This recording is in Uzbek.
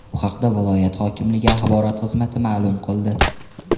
Bu haqda viloyat hokimligi axborot xizmati ma’lum qildi .